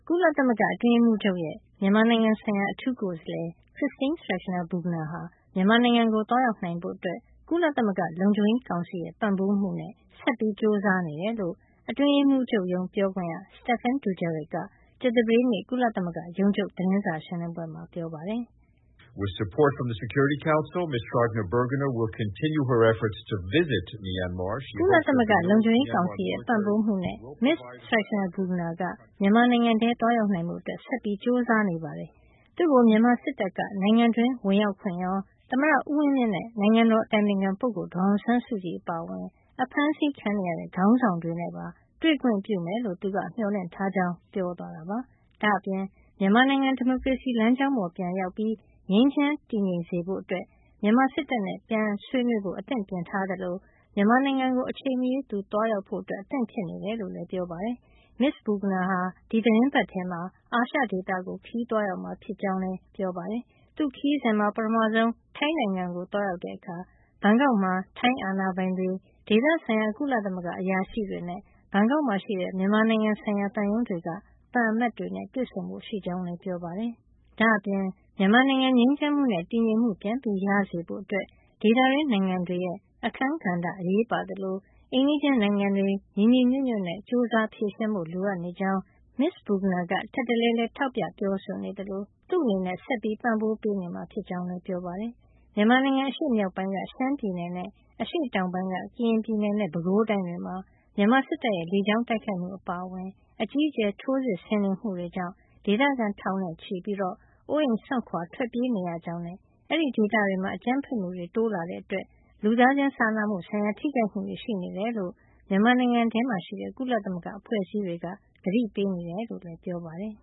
ုလသမဂ္ဂအတွင်းရေးမှုးချုပ်ရဲ့ မြန်မာနိုင်ငံဆိုင်ရာ အထူးကိုယ်စားလှယ် Christine Schraner Burgener ဟာ မြန်မာနိုင်ငံကို သွားရောက်နိုင်ဖို့ ကုလသမဂ္ဂလုံခြုံရေးကောင်စီရဲ့ ပံ့ပိုးမှုနဲ့ ဆက်လက်ကြိုးစားနေတယ်လို့ အတွင်းရေးမှုးချုပ်ရုံး ပြောခွင့်ရ Stephane Dujarric က ကြာသပတေးနေ့ ကုလသမဂ္ဂရုံးချုပ် သတင်းစာရှင်းလင်းပွဲမှာ ပြောပါတယ်။ "ကုလသမဂ္ဂလုံခြုံရေးကောင်စီရဲ့ ပံ့ပိုးမှုနဲ့ မစ္စ Schraner Burgener က မြန်မာနိုင်ငံထဲသွားရောက်နိုင်ဖို့ ဆက်ကြိုးစားနေပါတယ်။ သူ့ကို မြန်မာစစ်တပ်က နိုင်ငံတွင်းဝင်ရောက်ခွင့်ရော၊ သမ္မတဦးဝင်းမြင့်နဲ့ နိုင်ငံတော်အတိုင်ပင်ခံပုဂ္ဂိုလ် ဒေါ်အောင်ဆန်းစုကြည် အပါအဝင် အဖမ်းဆီးခံနေရတဲ့ ခေါင်းဆောင်တွေနဲ့ပါ တွေ့ခွင့်ပြုမယ်လို့ သူက မျှော်လင့်ထားကြောင်း" ပြောသွားတာပါ။ ဒါ့အပြင် မြန်မာနိုင်ငံ ဒီမိုကရေစီလမ်းကြောင်းပေါ် ပြန်ရောက်ပြီး ငြိမ်းချမ်း တည်ငြိမ်စေဖို့ အတွက် မြန်မာစစ်တပ်နဲ့ ပြန်ဆွေးနွေးဖို့ အသင့်ပြင်ထားသလို မြန်မာနိုင်ငံကို အချိန်မရွေး သူသွားရောက်ဖို့ အသင့် ဖြစ်နေကြောင်းလည်း ပြောပါတယ်။ မစ္စ Burgener ဟာ ဒီသီတင်းပတ်ထဲမှာပဲ အာရှဒေသကို သွားရောက်မှာ ဖြစ်ကြောင်းလည်း ပြောပါတယ်။ သူ့ခရီးစဉ်မှာ ပထမဆုံး ထိုင်းနိုင်ငံကို သွားရောက်တဲ့အခါ ဘန်ကောက်မှာ ထိုင်းအာဏာပိုင်တွေ၊ ဒေသဆိုင်ရာ ကုလသမဂ္ဂအရာရှိတွေနဲ့ ဘန်ကောက်ရှိ မြန်မာနိုင်ငံဆိုင်ရာသံရုံးတွေက သံအမတ်တွေနဲ့ တွေ့ဆုံဖို့ရှိကြောင်းလည်း ပြောပါတယ်။ ဒါ့အပြင် မြန်မာနိုင်ငံ ငြိမ်းချမ်းမှုနဲ့ တည်ငြိမ်မှု ပြန်ရစေဖို့ အတွက် ဒေသတွင်းနိုင်ငံတွေရဲ့ အခန်းကဏ္ဍ အရေးပါသလို အိမ်နီးချင်းနိုင်ငံတွေ ညီညီညွတ်ညွတ်နဲ့ ကြိုးစား ဖြေရှင်းဖို့ လိုအပ်နေကြောင်း မစ္စ Burgener က ထပ်တလဲလဲ ထောက်ပြပြောဆိုနေသလို သူ့အနေနဲ့ ဆက်လက်ပံ့ပိုးပေးနေမှာ ဖြစ်ကြောင်းလည်း ပြောပါတယ်။ မြန်မာနိုင်ငံ အရှေ့မြောက်ပိုင်းက ရှမ်းပြည်နယ်နဲ့ အရှေ့တောင်ပိုင်းက ကရင်ပြည်နယ်နဲ့ ပဲခူးတိုင်းတွေမှာ မြန်မာစစ်တပ်ရဲ့ လေကြောင်းတိုက်ခိုက်မှု အပါအဝင် အကြီးအကျယ်ထိုးစစ်ဆင်နေမှုကြောင့် ဒေသခံ ထောင်နဲ့ချီ အိုးအိမ်စွန့်ခွါထွက်ပြေးနေရကြောင်းနဲ့ အဲဒီဒေသတွေမှာ အကြမ်းဖက်မှုတွေ တိုးလာတာကြောင့် လူသားချင်းစာနာမှုဆိုင်ရာ ထိခိုက်မှုတွေ ရှိနေတယ်လို့ မြန်မာနိုင်ငံထဲမှာရှိတဲ့ ကုလသမဂ္ဂအဖွဲ့အစည်းတွေက သတိပေးနေကြောင်းလည်း ပြောပါတယ်